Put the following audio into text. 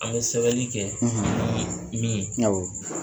A bɛ sɛbɛli kɛ min awɔ.